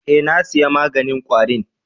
Eh, na saya maganin kwari'n.